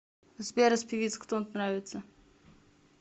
сбер из певиц кто нравится